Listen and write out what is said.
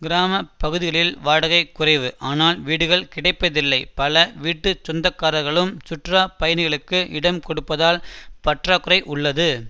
கிராம பகுதிகளில் வாடகை குறைவு ஆனால் வீடுகள் கிடைப்பதில்லை பல வீட்டு சொந்தக்காரர்களும் சுற்றுலா பயணிகளுக்கு இடம் கொடுப்பதால் பற்றாக்குறை உள்ளது